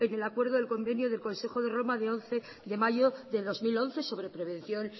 el acuerdo del convenio del consejo de roma de once de mayo del dos mil once sobre prevención